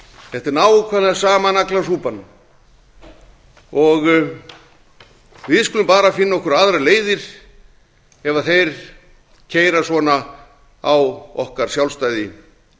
þetta er nákvæmlega sama naglasúpan við skulum bara finna okkur aðrar leiðir ef þeir keyra svona á okkar sjálfstæði